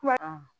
Kuma